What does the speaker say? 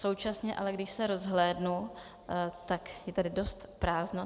Současně ale když se rozhlédnu, tak je tady dost prázdno.